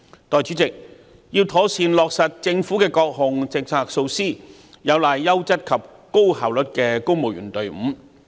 代理主席，要妥善落實政府各項政策和措施，有賴優質及高效率的公務員隊伍。